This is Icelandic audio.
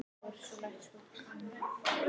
Hefur einhver heyrt þær?